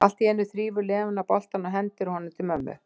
Allt í einu þrífur Lena boltann og hendir honum til mömmu.